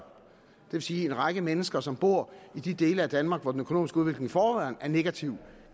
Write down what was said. vil sige at en række mennesker som bor i de dele af danmark hvor den økonomiske udvikling i forvejen er negativ